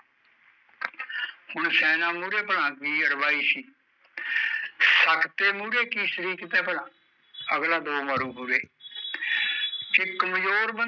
ਹੁਣ ਸੈਨਾ ਮੂਹਰੇ ਭਲਾ ਕੀ ਸੀ ਸਖਤੇ ਮੂਹਰੇ ਕੀ ਸਰੀਕਤ ਐ ਭਲਾ ਅਗਲਾ ਦੋ ਮਾਰੂ ਹੂਰੇ ਤੇ ਕਮਜ਼ੋਰ ਬੰਦਾ